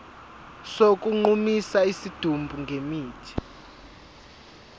sokugqumisa isidumbu ngemithi